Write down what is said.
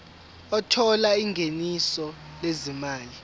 othola ingeniso lezimali